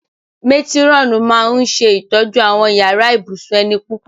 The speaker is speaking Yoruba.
Métírọ̀nù máa ń ṣe ìtọ́jú àwọn yàrá ibùsùn ẹni púpọ̀